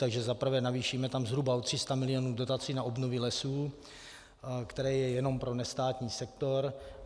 Takže zaprvé navýšíme tam zhruba o 300 milionů dotací na obnovy lesů, které jsou jenom pro nestátní sektor.